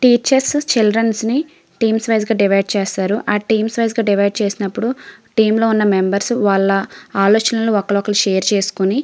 teachers childrens ని teams wise గ divide చేస్తారు ఆలా టీమ్స్ గ డివైడ్ చేసినపుడు వాలా ఐడియాస్ ఆలోచనలను ఒకలతో ఒకలు షేర్ చేసుకొని --